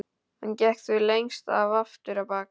Hann gekk því lengst af aftur á bak.